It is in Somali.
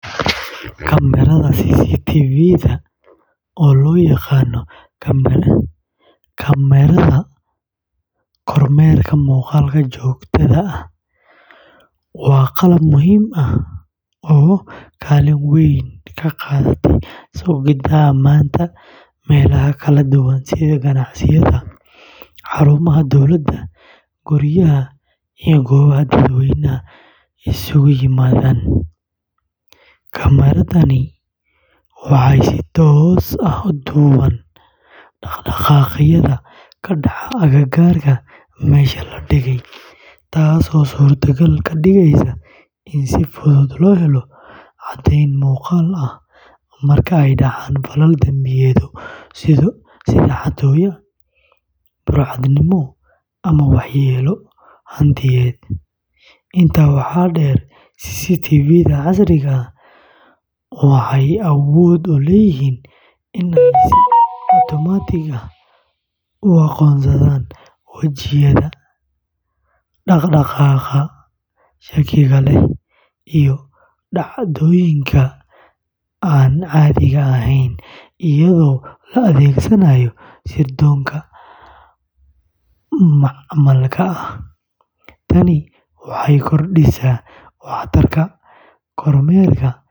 Kamaradaha CCTV-da, oo loo yaqaan kamaradaha kormeerka muuqaalka joogtada ah, waa qalab muhiim ah oo kaalin weyn ka qaata sugidda ammaanka meelaha kala duwan sida ganacsiyada, xarumaha dowladda, guryaha, iyo goobaha dadweynuhu isugu yimaadaan. Kamaradahani waxay si toos ah u duubaan dhaqdhaqaaqyada ka dhacaya agagaarka meesha la dhigay, taasoo suurtogal ka dhigaysa in si fudud loo helo caddayn muuqaal ah marka ay dhacaan falal dambiyeedyo sida xatooyo, burcadnimo, ama waxyeello hantiyadeed. Intaa waxaa dheer, CCTV-da casriga ah waxay awood u leeyihiin inay si otomaatig ah u aqoonsadaan wajiyada, dhaqdhaqaaqa shakiga leh, iyo dhacdooyinka aan caadiga ahayn, iyadoo la adeegsanayo sirdoonka macmalka ah. Tani waxay kordhisaa waxtarka kormeerka.